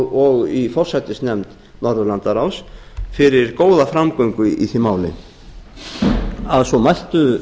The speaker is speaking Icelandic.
og í forsætisnefnd norðurlandaráðs fyrir góða framgöngu í því máli svo mæltu